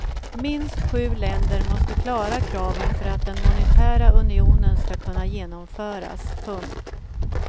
Minst sju länder måste klara kraven för att den monetära unionen ska kunna genomföras. punkt